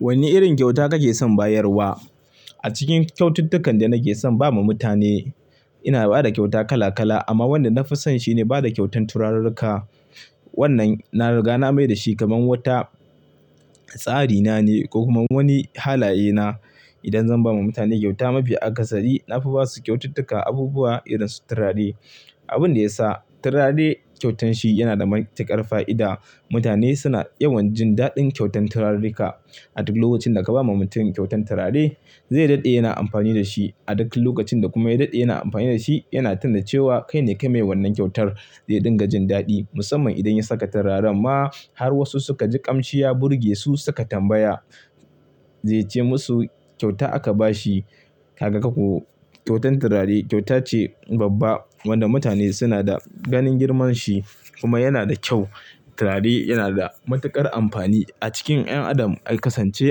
Wanne irin kyauta kake son bayarwa? A cikin kyaututtukan da nake son ba ma mutane, ina ba da kyauta kala kala amma wanda na fi so shi ne ba da kyautan turarurruka. Wannan na riga na mai da shi kamar wata tsari na ne ko kuma wani halaye na. Idan zan ba ma mutane kyauta mafi akasari, na fi ba su kyaututtuka abubuwa irin su turare. Abin da ya sa turare kyautan shi yana da matuƙar fa'ida, mutane suna yawan jin daɗin kyautan turarurruka. A duk lokacin da ka ba ma mutum kyautan turare, zai daɗe yana amfani da shi. A duk lokacin da kuma ya daɗe yana amfani da shi, yana tuna cewa kaine kai mai wannan kyautar zai dinga jin daɗi. Musamman idan ya saka turaren ma har wasu suka ji ƙamshi ya burge su suka tambaya, zai ce musu kyauta aka ba shi. Kaga ko ku, kyautan turare kyauta ce babba wanda mutane suna da ganin girmanshi kuma yana da kyau. Turare yana da matuƙar amfani a cikin 'yan adam. Ai kasance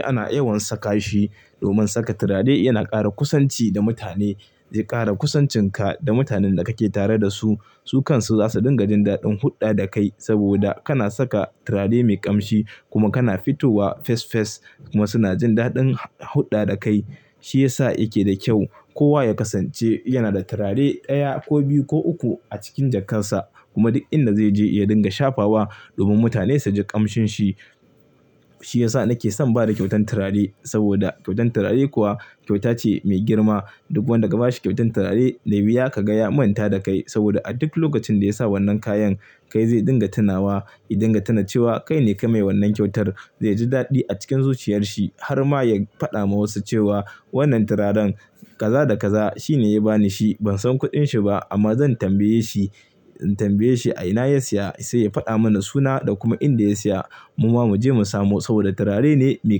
ana yawan saka shi. Domin saka turare yana ƙara kusanci da mutane. Zai ƙara kusancinka da mutanen da kake tare da su. Su kansu za su dinga jin daɗin hulɗa da kai saboda kana saka turare mai ƙamshi kuma kana fitowa fes fes kuma suna jin daɗin hulɗa da kai. Shi ya sa yake da kyau. Kowa ya kasance yana da turare ɗaya ko biyu ko uku a cikin jakarsa kuma duk inda zai je ya dinga shafa wa domin mutane su ji ƙamshin shi. Shi ya sa nake son bada kyautan turare saboda kyautan turare kuwa kyauta ce mai girma. Duk wanda ka ba shi kyautan turare, zaiyi wuyart ka ga ya manta da kai saboda a duk lokacin da ya sa wannan kayan, kai zai dinga tunawa. Ya dinga tuna cewa kaine kai mai wannan kyautar. Zai ji daɗi a cikin zuciyarsa har ma ya faɗa ma wasu cewa wannan turaren kaza da kaza shine ya ba ni shi. Ban san kuɗin shi ba amma zan tambaye shi, in tambaye shi a ina ya siya sai ya faɗa mana suna da kuma inda ya siya. Mu ma mu je mu samu saboda turare ne mai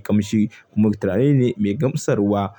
ƙamshi kuma turare ne mai gamsarwa.